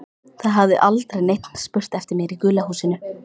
Það hafði aldrei neinn spurt eftir mér í gula húsinu.